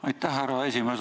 Aitäh, härra esimees!